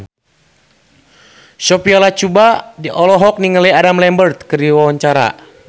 Sophia Latjuba olohok ningali Adam Lambert keur diwawancara